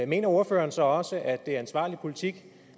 mener ordføreren så også at det er ansvarlig politik